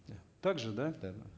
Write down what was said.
да так же да да